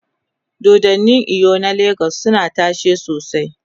dodannin eyo na legas suna tashe sosai